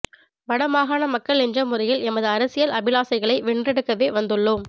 வடமாகாண மக்கள் என்ற முறையில் எமது அரசியல் அபிலாசைகளை வென்றெடுக்கவே வந்துள்ளோம்